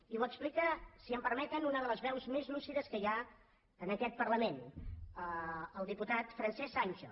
i ho explica si m’ho permeten una de les veus més lúcides que hi ha en aquest parlament el diputat francesc sancho